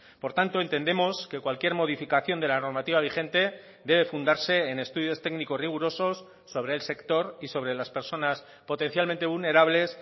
por tanto entendemos que cualquier modificación de la normativa vigente debe fundarse en estudios técnicos rigurosos sobre el sector y sobre las personas potencialmente vulnerables